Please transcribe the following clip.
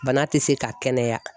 Bana tɛ se ka kɛnɛya.